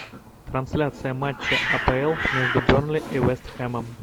трансляция матча апл между бернли и вест хэмом